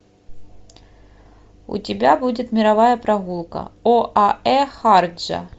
у тебя будет мировая прогулка оаэ шарджа